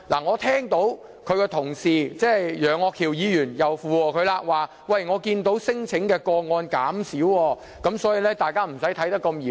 我聽到他的同事——楊岳橋議員——附和他，表示看到聲請個案減少，所以，大家不要看得這麼嚴重。